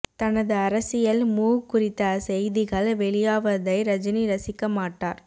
தனது அரசியல் மூவ் குறித்த செய்திகள் வெளியாவதை ரஜினி ரசிக்க மாட்டார்